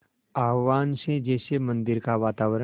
आह्वान से जैसे मंदिर का वातावरण